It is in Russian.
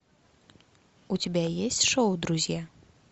у тебя есть шоу друзья